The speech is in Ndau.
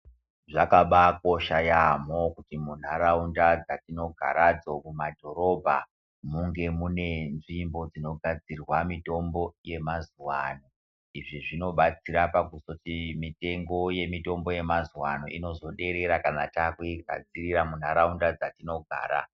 Zvakabaakosha yaamho kuti mundaraunda dzatinogaradzo mumadhorobha munge mune nzvimbo dzinogadzira mitombo yemazuvaano izvi zvinobatsira pakuzoti mitengo yemitombo yemazuvaano inozoderera kana takuigadzirira mundaraunda dzatinogara.